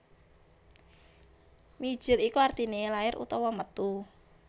Mijil iku artine lair utawa metu